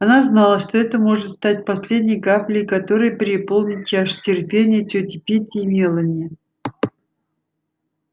она знала что это может стать последней каплей которая переполнит чашу терпения тёти питти и мелани